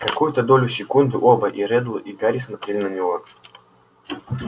какую-то долю секунды оба и реддл и гарри смотрели на него